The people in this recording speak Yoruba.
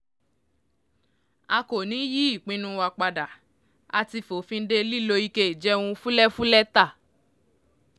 a kò ní í yí ìpinnu wa padà a ti fòfin de lílo ike ìjẹun fúlẹ́fúlẹ́ ta